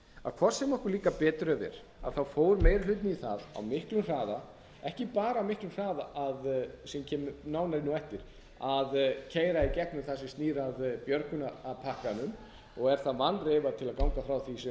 að hvort sem okkur líkar betur eða verr fór meiri hlutinn í það á miklum hraða ekki bara á miklum hraða sem ég kem nánar inn á á eftir að keyra í gegnum það sem snýr að björgunarpakkanum og er það vanreifað til að ganga frá því sem